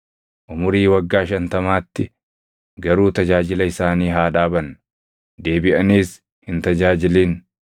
umurii waggaa shantamaatti garuu tajaajila isaanii haa dhaaban; deebiʼaniis hin tajaajilin.